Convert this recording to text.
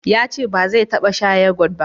yace ba zai taba sha yogot ba